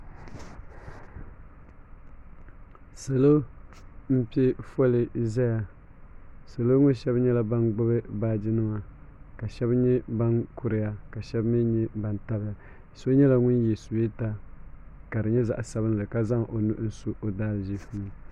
salo m-pe foli n-zaya salo ŋɔ shɛba nyɛla ban gbubi baaji nima ka shɛba nyɛ ban kuriya ka mi nyɛ ban tabi ya so nyɛla ŋun ye suweta ka di nyɛ zaɣ' sabinli ka zaŋ o nuhi su o daa ziifu ni.